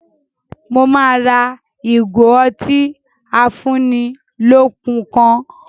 Mo máa ra ìgò otí afúnnilọ́kun kan